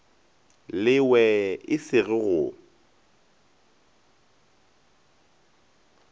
lewe e se go go